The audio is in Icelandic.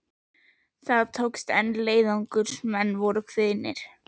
Það tókst, en leiðangursmenn voru kvíðnir.